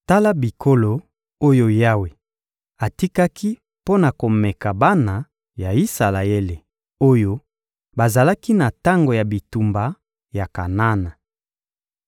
Tala bikolo oyo Yawe atikaki mpo na komeka bana ya Isalaele oyo bazalaki na tango ya bitumba ya Kanana.